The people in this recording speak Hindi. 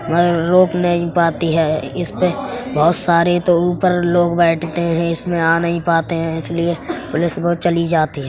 और रोक नहीं पाती है इस पे बहोत सारे तो ऊपर लोग बैठते हैं। इसमें आ नहीं पाते इसीलिए पुलिस रोज चली जाती है।